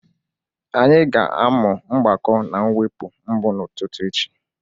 Anyị ga-amụ mgbakọ na mwepụ mbụ n'ụtụtụ echi.